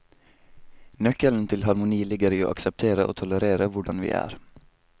Nøkkelen til harmoni ligger i å akseptere og tolerere hvordan vi er.